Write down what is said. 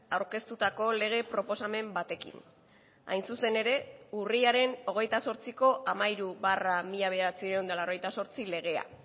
aurkeztutako lege proposamen batekin hain zuzen ere urriaren hogeita zortziko hamairu barra mila bederatziehun eta laurogeita zortzi legea